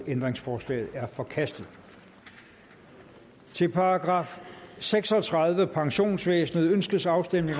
ændringsforslaget er forkastet til § seks og tredive pensionsvæsenet ønskes afstemning